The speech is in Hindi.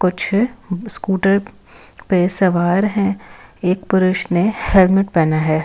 कुछ स्कूटर पे सवार हैं एक पुरुष ने हेलमेट पहना है।